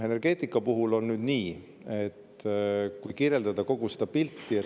Energeetika puhul on nüüd nii, kirjeldan kogu seda pilti.